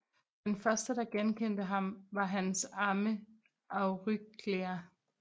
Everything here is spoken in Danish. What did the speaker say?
Den første der genkendte ham var hans amme Euryclea